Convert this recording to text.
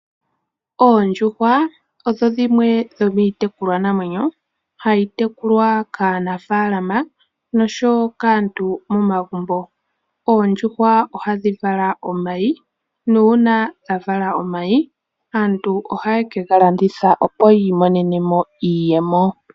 Oondjuhwa odho dhimwe dhomiitekulwa namwenyo hadhi tekulwa kaanafalama noshowo kaantu momagumbo. Oondjuhwa ohadhi vala omayi nuuna dha vala omayi aantu ohaya kegalanditha opo yiimonene mo iiyemo.